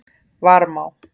Varmá